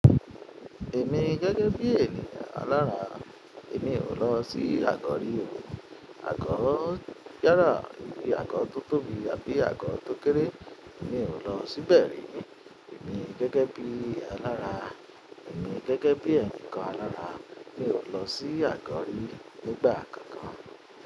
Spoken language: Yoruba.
Èmi gẹ́gẹ́ bí ènìyàn alára èmi ò lọ sí àgọ́ rí. Àgọ́ yálà, ibi àgọ́ tó tóbi àbí àgọ́ tó kéré, èmi ò lọ síbẹ̀ rí. Èmi gẹ́gẹ́ bí alára, èmi gẹ́gẹ́ bí ẹni kan alára, mi ò lọ sí àgọ́ rí nígbà kankan.